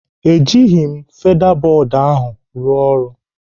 Ejighị m feda bọd ahụ rụọ ọrụ.